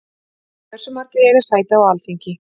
Hversu margir eiga sæti á Alþingi?